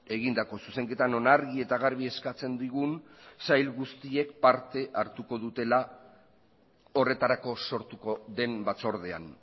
egindako zuzenketa non argi eta garbi eskatzen digun sail guztiek parte hartuko dutela horretarako sortuko den batzordean